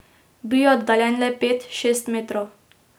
Bil je oddaljen le pet, šest metrov.